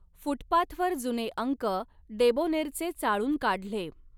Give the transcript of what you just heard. फुटपाथवर जुने अंक डेबोनेरचे चाळून काढले